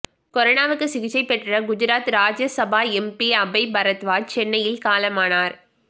கொரோனாவுக்கு சிகிச்சை பெற்ற குஜராத் ராஜ்யசபா எம்பி அபய் பரத்வாஜ் சென்னையில் காலமானார்